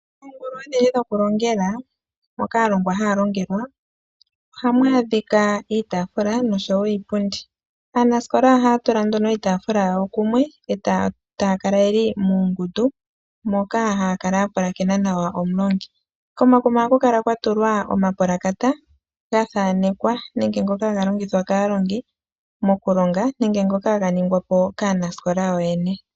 Oongulu oonene dhokulongela moka aalongwa haya longelwa. Ohamu adhika iitaafula noshowo iipundi. Aanasikola ohaya tula nduno iitaafula yayo kumwe etaya kala yeli muungundu moka haya kala yapulakena nawa omulongi. Komakuma ohaku kala kwatulwa omapulakata gathaanekwa nenge ngoka haga longithwa kaalongi mokulonga nenge ngoka haga ningwapo kaanasikola yoyene .